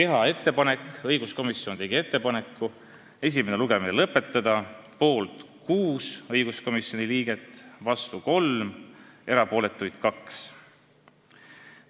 Ka tegi õiguskomisjon ettepaneku esimene lugemine lõpetada – poolt hääletas 6 komisjoni liiget, vastu 3 ja erapooletuid 2.